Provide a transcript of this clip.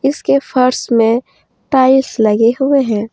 इसके फर्श में टाइल्स लगे हुए हैं।